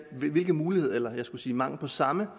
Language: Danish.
hvilke muligheder eller mangel på samme